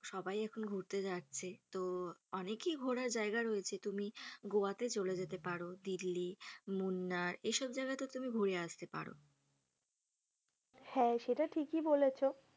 সবাই এখন ঘুরতে যাচ্ছে তো অনেকি ঘোরার জায়গা রয়েছে তুমি গোয়াতে চলে যেতে পার, দীল্লি, মুন্নার এসব জায়গাতে তুমি ঘুরে আসতে পারো। হ্যা সেটা ঠিকই বলেছ।